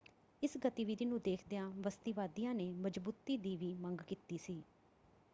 ਇਸ ਗਤੀਵਿਧੀ ਨੂੰ ਦੇਖਦਿਆਂ ਬਸਤੀਵਾਦੀਆਂ ਨੇ ਮਜ਼ਬੂਤੀ ਦੀ ਵੀ ਮੰਗ ਕੀਤੀ ਸੀ।